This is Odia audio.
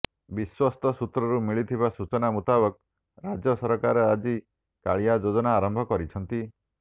ବିଶ୍ବସ୍ତ ସୂତ୍ରରୁ ମିଳିଥିବା ସୂଚନା ମୁତାବକ ରାଜ୍ୟ ସରକାର ଆଜି କାଳିଆ େଯାଜନା ଆରମ୍ଭ କରିଛନ୍ତି